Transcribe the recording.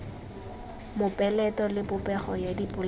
mopeleto le popego ya dipolelo